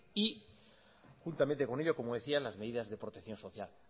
juntamente con ello como decía las medidas de protección social